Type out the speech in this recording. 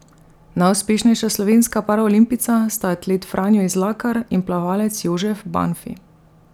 Najuspešnejša slovenska paraolimpijca sta atlet Franjo Izlakar in plavalec Jožef Banfi.